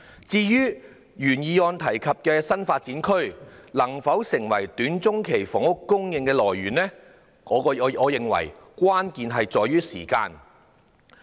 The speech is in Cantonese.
至於原議案提及的新發展區能否成為短中期房屋供應來源，我認為關鍵在於時間。